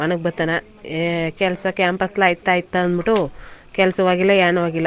ಮನ್ ಗ್ ಬತ್ತಾನ ಏ ಕೆಲ್ಸ ಕ್ಯಾಂಪಸ್ ಲ್ ಆಯ್ತ್ ಆಯ್ತಾ ಅಂದ್ಬಿಟ್ಟು ಕೆಲಸವೂ ಆಗಿಲ್ಲ ಏನು ಆಗಿಲ್ಲ .